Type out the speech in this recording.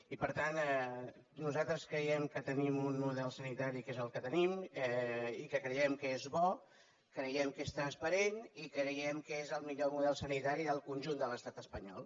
i per tant nosaltres creiem que tenim un model sanitari que és el que tenim i que creiem que és bo creiem que és transparent i creiem que és el millor model sanitari del conjunt de l’estat espanyol